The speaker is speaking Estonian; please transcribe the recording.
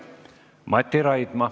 Mati Raidma.